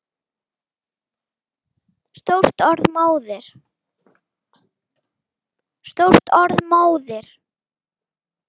Stórt orð móðir!